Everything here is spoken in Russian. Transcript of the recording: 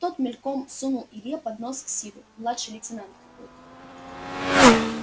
тот мельком сунул илье под нос ксиву младший лейтенант какой-то